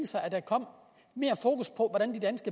sig at der kom mere fokus på